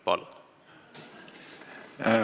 Palun!